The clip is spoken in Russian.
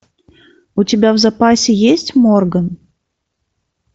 у тебя в запасе есть морган